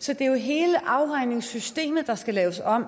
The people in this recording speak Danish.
så det er jo hele afregningssystemet der skal laves om